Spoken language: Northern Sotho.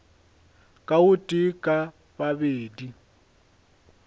ka o tee ka babedi